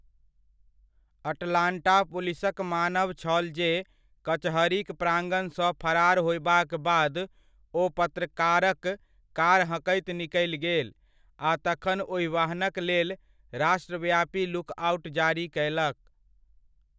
Atlanta पुलिसक मानब छल जे कचहरीक प्रांगणसँ फरार होयबाक बाद ओ पत्रकारक कार हँकैत निकलि गेल, आ तखन ओहि वाहनक लेल राष्ट्रव्यापी लुक आउट जारी कयलक।